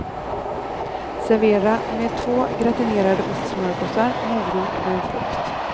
Servera med två gratinerade ostsmörgåsar, morot och en frukt.